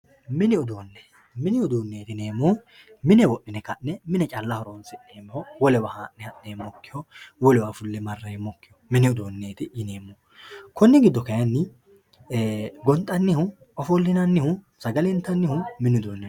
mini uduunne mini uduunneeti yineemmohu mine wodhine ka'ne calla horonsi'neemmoho wolewa haa'ne diha'neemmoho wolewa fulle marreemmpkkiho mini uduunneeti yineemmohu konni giddo kayiinni gonxannihu ofollinannihu sagale intannihu mini uduunni no.